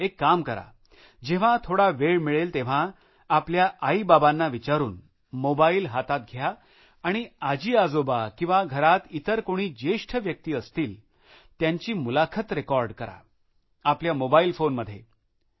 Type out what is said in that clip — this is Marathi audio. एक काम कराजेव्हा थोडा वेळ मिळेल तेव्हा आपल्या आईबाबांना विचारुन मोबाईल हातात घ्या आणि आजीआजोबा किंवा घरात इतर कोणी ज्येष्ठ व्यक्ती असतील त्यांची मुलाखत रेकॉर्ड करा आपल्या मोबाईल फोनमध्ये रेकॉर्ड करा